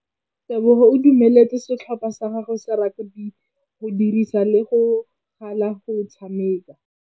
Tebogô o dumeletse setlhopha sa gagwe sa rakabi go dirisa le galê go tshameka.